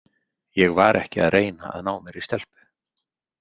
Ég var ekki að reyna að ná mér í stelpu.